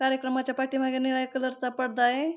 कार्यक्रमाच्या पाठीमागे निळ्या कलर चा पडदा आहे.